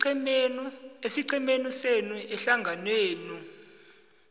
esiqhemeni senu ehlanganwenenu